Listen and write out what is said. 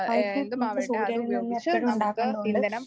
നമുക്ക് സൂര്യനിൽനിന്ന് എപ്പഴും ഉണ്ടാക്കേണ്ട കൊണ്ട്